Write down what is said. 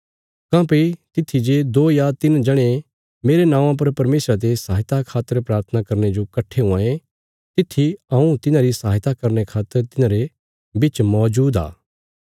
काँह्भई तित्थी जे दो या तिन्न जणे मेरे नौआं पर परमेशरा ते सहायता खातर प्राथना करने जो कट्ठे हुआं ये तित्थी हऊँ तिन्हारी सहायता करने खातर तिन्हारे बिच मौजूद आ